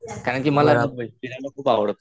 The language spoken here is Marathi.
काय आहे ना कि मला फिरायला खूप आवडत.